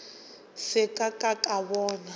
se ka ka ka bona